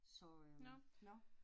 Så øh, nåh